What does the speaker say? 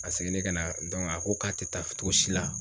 A seginnen ka na a ko k'a te taa togo si la